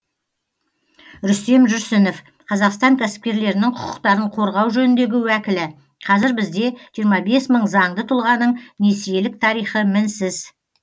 рүстем жүрсінов қазақстан кәсіпкерлерінің құқықтарын қорғау жөніндегі уәкілі қазір бізде жиырма бес мың заңды тұлғаның несиелік тарихы мінсіз